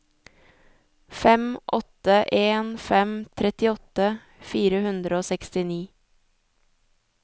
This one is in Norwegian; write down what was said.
fem åtte en fem trettiåtte fire hundre og sekstini